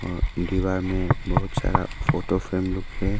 दीवार में बहुत सारा फोटो फ्रेम लुक है।